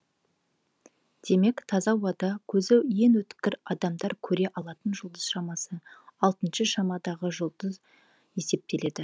демек таза ауада көзі ең өткір адамдар көре алатын жұлдыз шамасы алтыншы шамадағы жұлдыз есептеледі